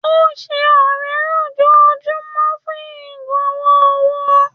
Ó ń ṣe ọrẹ lójoojúmọ́ fún agbowó-owó.